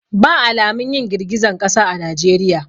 Ba alamun yin girgizan kasa a najeriya.